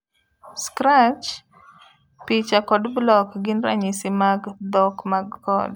Scratch, picha kod block gin ranyisi mag dhok mag code.